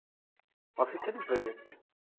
office এরই project.